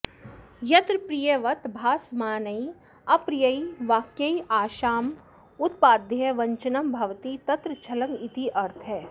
यत्र प्रियवत् भासमानैः अप्रियैः वाक्यैः आशामुत्पाद्य वञ्चनं भवति तत्र छलमित्यर्थः